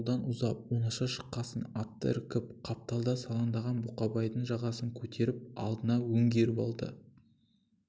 ауылдан ұзап оңаша шыққасын атты іркіп қапталда салаңдаған бұқабайдың жағасынан көтеріп алдына өңгеріп алды